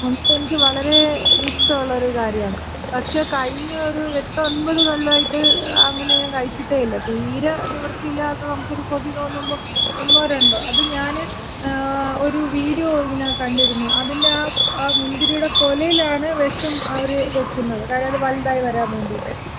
മുന്തിരി എനിക്ക് വളരെ ഇഷ്ടോള്ള ഒര് കാര്യാണ്. പക്ഷേ കഴിഞ്ഞ ഒര് എട്ട് ഒൻപത് കൊല്ലായിട്ട് അങ്ങനെ ഞാൻ കഴിച്ചിട്ടേയില്ല. തീരെ നിവൃത്തിയില്ലാതെ നമ്ക്കൊരു കൊതി തോന്നുമ്പോ ഒന്നോ രണ്ടോ. അത് ഞാന് ഒര് വീഡിയോ ഇങ്ങനെ കണ്ടിരുന്നു. അതിന്‍റെ ആ മുന്തിരിടെ കൊലയിലാണ് വെഷം അവര് വെക്കുന്നത്. കാര്യം അത് വലുതായി വരാൻ വേണ്ടിയിട്ട്.